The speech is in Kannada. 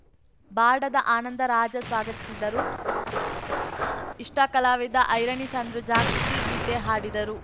ಬಾಡದ ಆನಂದರಾಜ ಸ್ವಾಗತಿಸಿದರು ಇಷ್ಟಾ ಕಲಾವಿದ ಐರಣಿ ಚಂದ್ರು ಜಾಗೃತಿ ಗೀತೆ ಹಾಡಿದರು